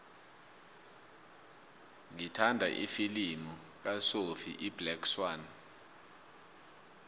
ngithanda ifilimu kasophie iblack swann